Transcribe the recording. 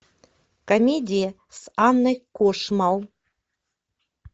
комедия с анной кошмал